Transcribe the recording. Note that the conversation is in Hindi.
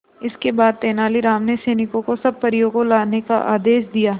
इसके बाद तेलानी राम ने सैनिकों को सब परियों को लाने का आदेश दिया